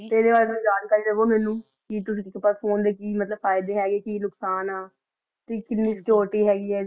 ਤੇ ਏਡੇ ਬਾਰੇ ਤੁਸੀਂ ਜਾਣਕਾਰੀ ਦੇਵੋ ਮੇਨੂ ਕੀ ਤੁਸੀਂ ਫੋਨੇ ਦੇ ਕੀ ਮਤਲਬ ਫਾਇਦੇ ਕੀ ਨੁਕਸਾਨ ਆ ਤੇ ਕੀਨੀ ਸੇਛੁਰਿਟੀ ਹੇਗੀ ਆ